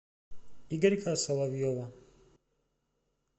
игорька соловьева